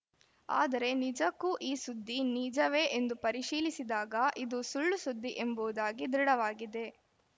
ಆದರೆ ನಿಜಕ್ಕೂ ಈ ಸುದ್ದಿ ನಿಜವೇ ಎಂದು ಪರಿಶೀಲಿಸಿದಾಗ ಇದು ಸುಳ್ಳುಸುದ್ದಿ ಎಂಬುವುದಾಗಿ ದೃಢವಾಗಿದೆ